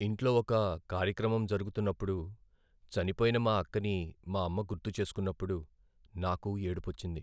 ఇంట్లో ఒక కార్యక్రమం జరుగుతున్నప్పుడు చనిపోయిన మా అక్కని మా అమ్మ గుర్తుచేసుకున్నపుడు, నాకూ ఏడుపొచ్చింది.